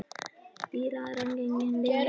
Týra en hann gegndi ekki.